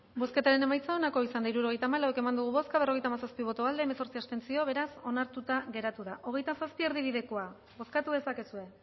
bozketaren emaitza onako izan da hirurogeita hamabost eman dugu bozka berrogeita hamazazpi boto aldekoa hemezortzi abstentzio beraz onartuta geratu da hogeita zazpi erdibidekoa bozkatu dezakezue